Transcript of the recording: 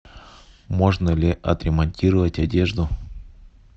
можно ли отремонтировать одежду